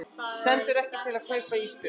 Stendur ekki til að kaupa ísbjörn